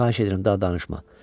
Xahiş edirəm, daha danışma.